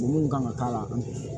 Mun kan ka k'a la